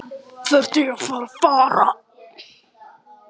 Hvert ættum við að fara?